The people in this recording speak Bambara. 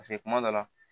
kuma dɔ la